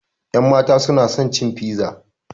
Ƴanmata suna son cin fiza